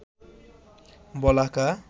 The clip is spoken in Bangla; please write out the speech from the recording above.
বলাকা